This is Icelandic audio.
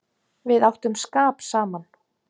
Við áttum skap saman.